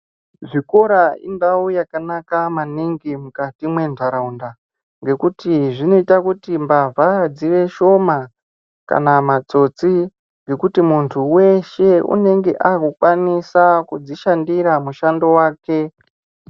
Zvikora indau yakanaka maningi mukati me ndaraunda ngekuti zvinoita kuti mbavha dziite shoma kana matsotsi ngekuti muntu weshe unenge akukwanisa kudzi shandira mushando wake.